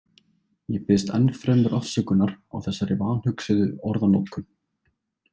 Ég biðst enn fremur afsökunar á þessari vanhugsuðu orðanotkun.